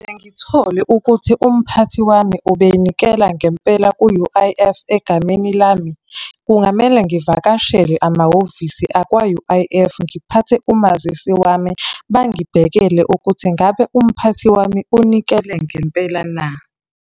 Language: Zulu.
Ngithole ukuthi umphathi wami ubenikela ngempela ku-U_I_F egameni lami, kungamele ngivakashele amahhovisi akwa-U_I_F, ngiphathe umazisi wami, bangibhekele ukuthi ngabe umphathi wami unikele ngempela na?